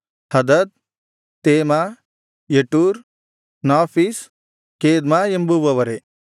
ಹದದ್ ತೇಮಾ ಯಟೂರ್ ನಾಫೀಷ್ ಕೇದ್ಮಾ ಎಂಬುವವರೇ